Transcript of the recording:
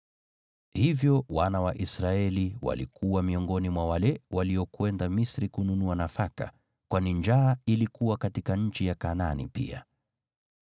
Hivyo wana wa Israeli walikuwa miongoni mwa wale waliokwenda Misri kununua nafaka, kwani njaa ilikuwa katika nchi ya Kanaani pia.